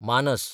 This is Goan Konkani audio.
मानस